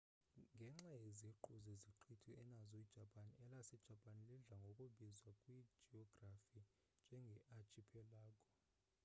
ngenxa yeziqhu zeziqithi enazo ijapan elasejapani lidla ngokubizwa kwijiyografi njenge archipelago